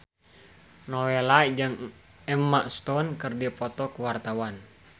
Nowela jeung Emma Stone keur dipoto ku wartawan